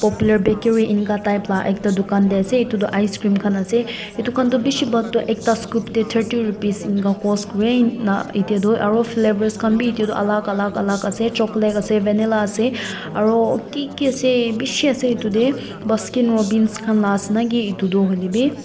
popular bakery eneka type la ekta dukaan de ase etu toh icecream khan ase edu khan do bishi bhag toh ekta scoop de thirty rupees eneka cost kure ena ete tu aro flavors khan b etu tu alak alak alak ase chocolate ase vanilla ase aro ki ki ase bishi ase etu de baskin robins khan la ase naki etu do hoilebi.